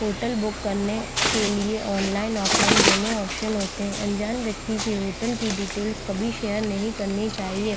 Hotel book करने के लिए ऑनलाइन ऑफलाइन दोनों ऑप्शन होते है अंजान व्यक्ति से होटल की डिटेल कभी शेयर नहीं करनी चाहिए।